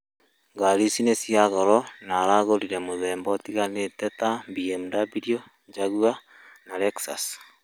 Ngarĩ ĩcĩ nĩcĩa goro na aragũrĩre muthemba ũtĩganĩte na BMW, jaguar na Lexus